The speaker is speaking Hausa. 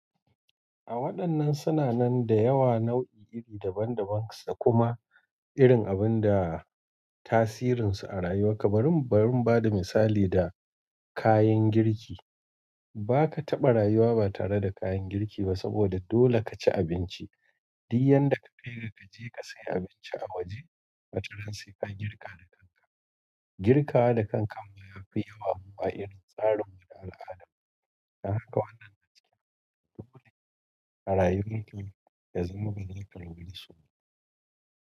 A waɗannan suna nan da yawa nau'i iri daban-daban sa. Kuma irin abun da tasirin su a rayuwa ka barin, bar in bada misali da kayan girki. Ba ka taɓa rayuwa ba tare da kayan girki ba saboda dole ka ci abinci. Di yan da ka fere ka je ka sayi abinci a waje, a wataran sai ka girka da kanka. Girka da kanka ma yafi yawa huwa irin tsarin mu na al'ada. Don haka wannan na ce dole a rayuwar ki ka zama mikan guri suna.